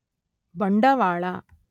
ಬಂಡವಾಳ